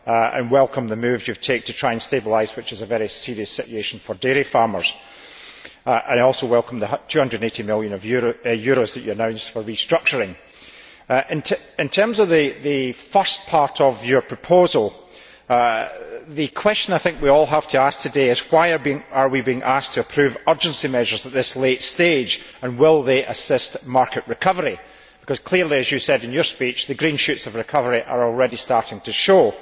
I welcome the moves you have taken to try and stabilise what is a very serious situation for dairy farmers. I also welcome the EUR 280 million that you have announced for restructuring. In terms of the first part of your proposal, the question we all have to ask today is why are we being asked to approve urgency measures at this late stage, and will they assist market recovery? Because clearly, as you said in your speech, the green shoots of recovery are already starting to show.